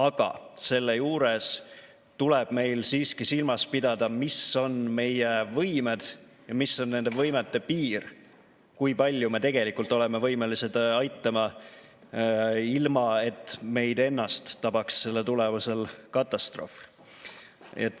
Aga selle juures tuleb meil siiski silmas pidada, mis on meie võimed ja mis on nende võimete piir, kui palju me tegelikult oleme võimelised aitama, ilma et meid ennast tabaks selle tulemusel katastroof.